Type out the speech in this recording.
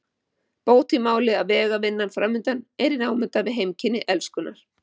Bót í máli að vegavinnan framundan er í námunda við heimkynni Elskunnar.